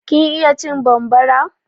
Kin iya cin bambara?